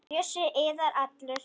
Bjössi iðar allur.